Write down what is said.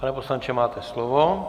Pane poslanče, máte slovo.